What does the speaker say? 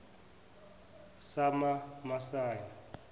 samamasayi